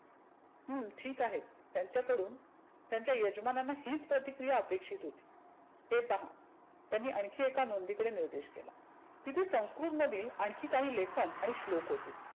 हम्म ठिक आहे. त्याच्याकडून त्याच्या यजमानांना हिच प्रतिक्रीया अपेक्षीत होती. हे पहा, त्यांनी आनखी एका नोंदीकडे निर्देश केला. तीथे संस्कृत मधील आनखी काही लेखन आणि श्लोक होते.